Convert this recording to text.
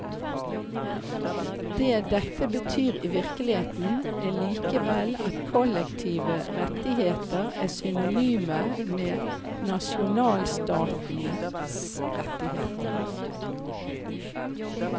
Det dette betyr i virkeligheten er likevel at kollektive rettigheter er synonyme med nasjonalstatens rettigheter.